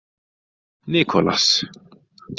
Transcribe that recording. Nicolas